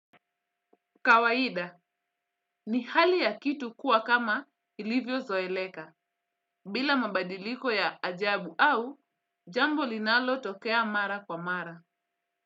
'Kawaida' ni hali ya kitu kuwa kama ilivyo zoeleka bila mabadiliko ya ajabu au jambo linalo tokea mara kwa mara.